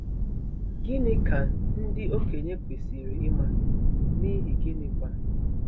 Gịnị ka ndị okenye kwesịrị ịma, n’ihi gịnịkwa?